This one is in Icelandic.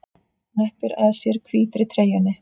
Hneppir að sér hvítri treyjunni.